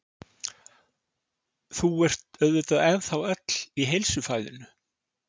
Þú ert auðvitað ennþá öll í heilsufæðinu?